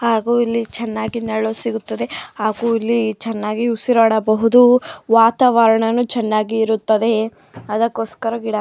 ಹಾಗು ಇಲ್ಲಿ ಚೆನ್ನಾಗಿ ನೆರಳು ಸಿಗುತ್ತದೆ ಹಾಗು ಇಲ್ಲಿ ಚೆನ್ನಾಗಿ ಉಸಿರಾಡಬಹುದು. ವಾತಾವರಣನು ಚೆನ್ನಾಗಿ ಇರುತ್ತದೆ. ಅದಕ್ಕೋಸ್ಕರ ಗಿಡ--